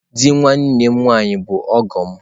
Di nwanne nwaanyi bu ọgọ m.